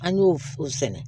An y'o sɛnɛ